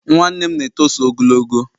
Nwa nwanne m na-etoso ogologo